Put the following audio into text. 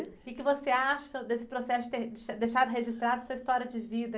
O quê que você acha desse processo ter deixado registrado sua história de vida?